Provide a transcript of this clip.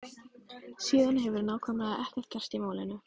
Síðan hefur nákvæmlega ekkert gerst í málinu.